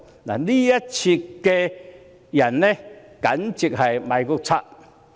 這一少撮人簡直是"賣國賊"。